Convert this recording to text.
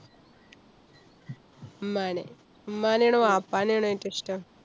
ഉമ്മാനെ. ഉമ്മാനെ ആണോ വാപ്പാനെ ആണോ ഏറ്റവും ഇഷ്ടം?